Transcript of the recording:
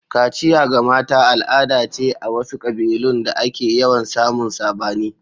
Kaciya ga mata al'ada ce a wasu kabilun da ake yawan samun sabani.